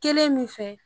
Kelen min fɛ